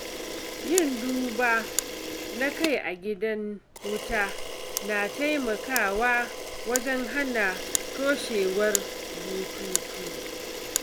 Yin duba na kai a gidan wuta na taimakawa wajen hana toshewar bututu.